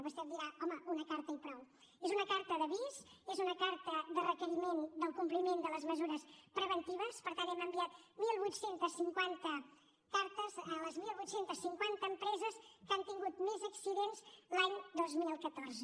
vostè em dirà home una carta i prou és una carta d’avís és una carta de requeriment del compliment de les mesures preventives per tant hem enviat divuit cinquanta cartes a les divuit cinquanta empreses que han tingut més accidents l’any dos mil catorze